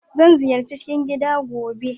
Zan ziyarci kicin gida gobe.